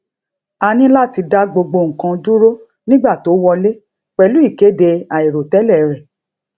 a ní láti dá gbogbo nǹkan dúró nígbà tó wọlé pèlú ìkéde àìròtélè rè